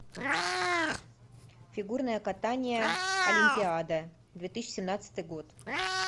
фигурное катание олимпиада две тысячи семнадцатый год